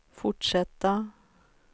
fortsätta